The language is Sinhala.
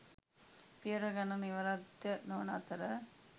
පියවර ගණන නිරවද්‍ය නොවන අතර